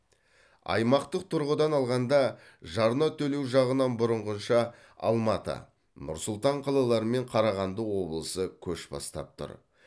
аймақтық тұрғыдан алғанда жарна төлеу жағынан бұрынғыша алматы нұр сұлтан қалалары мен қарағанды облысы көш бастап тұр